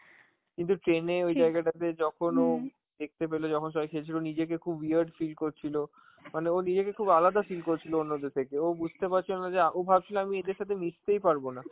কিন্তু train এ ওই জায়গাটাতে যখন ও দেখতে পেল যখন সবাই খেলছিল, নিজেকে খুব weird feel করছিল, মানে ও নিজেকে খুব আলাদা feel করছিল অন্যদের থেকে, ও বুঝতে পারছিল না যে~ আ ও ভাবছিল আমি এদের সাথে মিসতেই পারবোনা,